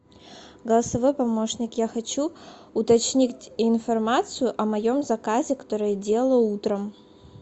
голосовой помощник я хочу уточнить информацию о моем заказе который я делала утром